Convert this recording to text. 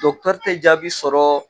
Dɔckitɛri te jabi sɔrɔ